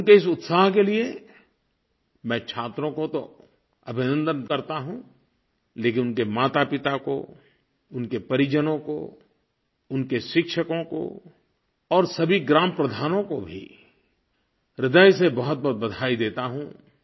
उनके इस उत्साह के लिये मैं छात्रों को तो अभिनन्दन करता हूँ लेकिन उनके मातापिता को उनके परिजनों को उनके शिक्षकों को और सभी ग्राम प्रधानों को भी ह्रदय से बहुतबहुत बधाई देता हूँ